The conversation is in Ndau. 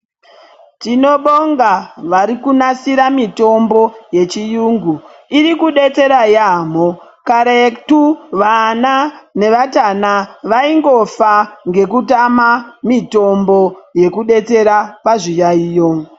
Tinobonga vari kunasira mitombo yechiyungu iri kubetsera yamho karetu vana nevatana vaingofa ngeku tama mitombo yeku betsera pazvi yayiyo.